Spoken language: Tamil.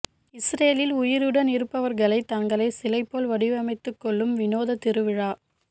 இஸ்ரேலில் உயிருடன் இருப்பவர்கள் தங்களை சிலை போல் வடிவமைத்து கொள்ளும் வினோத திருவிழா